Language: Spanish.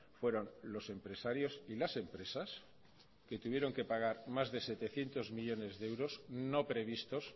fueron los empresarios y las empresas que tuvieron que pagar más de setecientos millónes de euros no previstos